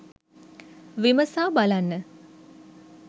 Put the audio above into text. විමසා බලන්න